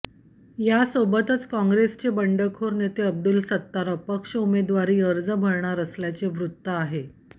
यासोबतच काँग्रेसचे बंडखोर नेते अब्दुल सत्तार अपक्ष उमेवारी अर्ज भरणार असल्याचे वृत्त आहे